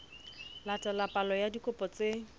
latela palo ya dikopo tse